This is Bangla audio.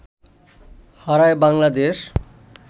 হারায় বাংলাদেশ